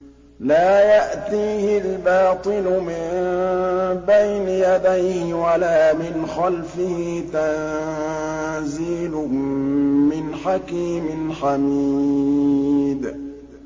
لَّا يَأْتِيهِ الْبَاطِلُ مِن بَيْنِ يَدَيْهِ وَلَا مِنْ خَلْفِهِ ۖ تَنزِيلٌ مِّنْ حَكِيمٍ حَمِيدٍ